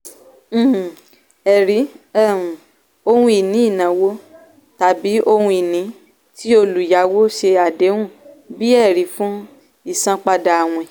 um ẹ̀rí um - ohun-ìní ìnáwó tàbí ohun-ìní tí olùyàwó ṣe àdéhùn bí ẹ̀rí fún ìsanpadà àwín